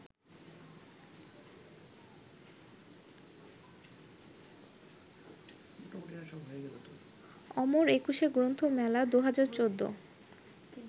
অমর একুশে গ্রন্থমেলা ২০১৪